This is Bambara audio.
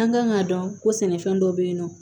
An kan k'a dɔn ko sɛnɛfɛn dɔ bɛ yen nɔ